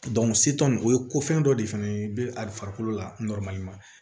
o ye ko fɛn dɔ de fɛnɛ ye a bɛ farikolo la